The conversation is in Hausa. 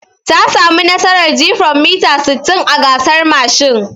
Ta samu nasarar jifan mita sittin a gasar mashin.